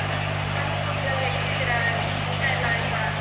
Hello Pooja ಹೆಂಗಿದಿರ ಊಟ ಎಲ್ಲಾ ಆಯ್ತಾ?